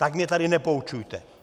Tak mě tady nepoučujte!